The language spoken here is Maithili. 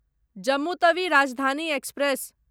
जम्मू तवी राजधानी एक्सप्रेस